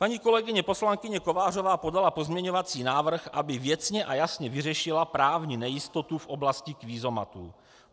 Paní kolegyně poslankyně Kovářová podala pozměňovací návrh, aby věcně a jasně vyřešila právní nejistotu v oblasti kvízomatů.